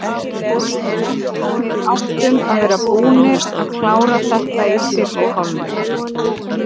Við áttum að vera búnir að klára þetta í fyrri hálfleik.